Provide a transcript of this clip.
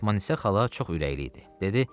Fatmanısa xala çox ürəkli idi.